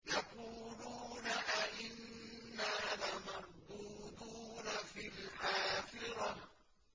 يَقُولُونَ أَإِنَّا لَمَرْدُودُونَ فِي الْحَافِرَةِ